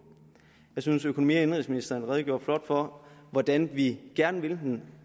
jeg synes at økonomi og indenrigsministeren redegjorde flot for hvordan vi gerne vil den